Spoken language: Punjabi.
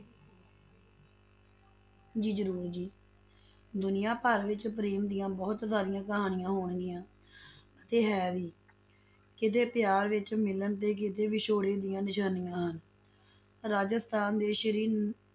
ਜੀ ਜ਼ਰੂਰ ਜੀ, ਦੁਨੀਆਂ ਵਿੱਚ ਪ੍ਰੇਮ ਦੀਆਂ ਬਹੁਤ ਸਾਰੀਆਂ ਕਹਾਣੀਆਂ ਹੋਣਗੀਆਂ ਤੇ ਹੈ ਵੀ ਕਿਤੇ ਪਿਆਰ ਵਿੱਚ ਮਿਲਣ ਤੇ ਕਿਤੇ ਵਿਛੋੜੇ ਦੀਆਂ ਨਿਸ਼ਾਨੀਆਂ ਹਨ, ਰਾਜਸਥਾਨ ਦੇ ਸ਼੍ਰੀ